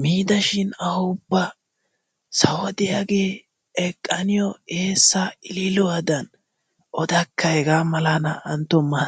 miidashin awu ubba sawo diyaagee eqqa niyo eessa illiluwadan odakka hega mala naa''antto ma!